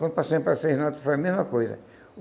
Quando passei para as seis notas, foi a mesma coisa.